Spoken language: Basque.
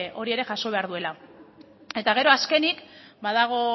hori ere jaso behar duela eta gero azkenik badago